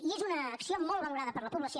i és una acció molt valorada per la població